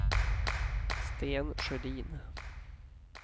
Sten Sjödin